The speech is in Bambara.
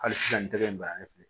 Hali sisan n tɛgɛ in bana ye filɛ